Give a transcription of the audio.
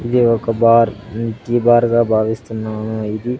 ఇది ఒక bar um milky bar గా భావిస్తున్నాను ఇది--